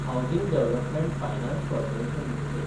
housing development finance corporation limited